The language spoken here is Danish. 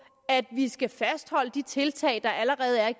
at vi skal fastholde de tiltag der allerede er